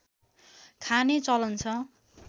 खाने चलन छ